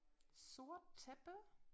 Sort tæppe